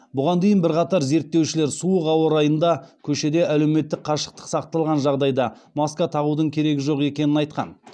бұған дейін бірқатар зерттеушілер суық ауа райында көшеде әлеуметтік қашықтық сақталған жағдайда маска тағудың керегі жоқ екенін айтқан